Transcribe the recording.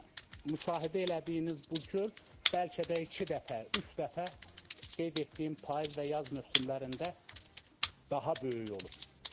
Yəni müşahidə elədiyiniz bu göl bəlkə də iki dəfə, üç dəfə qeyd etdiyim payız və yaz mövsümlərində daha böyük olur.